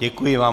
Děkuji vám.